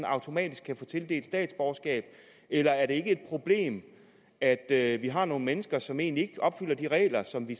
automatisk kan få tildelt statsborgerskab eller er det ikke et problem at at vi har nogle mennesker som egentlig ikke opfylder de regler som vi